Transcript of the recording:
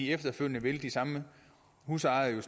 efterfølgende vil de samme husejere jo